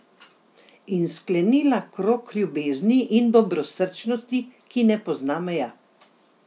In sklenila krog ljubezni in dobrosrčnosti, ki ne pozna meja.